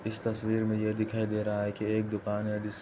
इस तस्वीर में यह दिखाई दे रहा है कि एक दुकान है जिस --